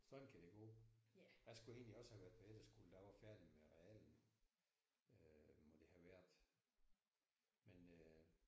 Sådan kan det gå. Jeg skulle egentlig også have været på efterskole da jeg var færdig med realen øh må det have været men øh